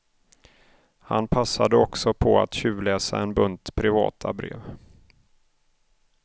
Han passade också på att tjuvläsa en bunt privata brev.